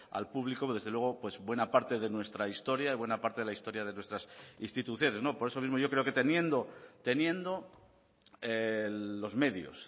al público desde luego buena parte de nuestra historia y buena parte de la historia de nuestras instituciones por eso mismo yo creo que teniendo teniendo los medios